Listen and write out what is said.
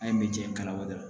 An ye me jɛn kalabɔ dɔrɔn